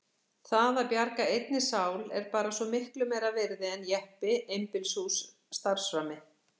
Það að bjarga einni sál er bara svo miklu meira virði en jeppi, einbýlishús, starfsframi.